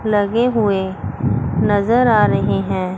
लगे हुए नजर आ रहे हैं।